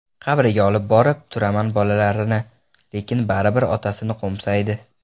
Qabriga olib borib turaman bolalarini, lekin baribir otasini qo‘msaydi.